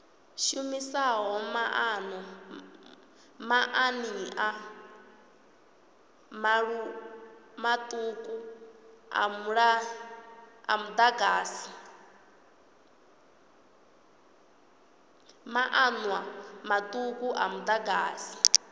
shumisaho maanḓa maṱuku a muḓagasi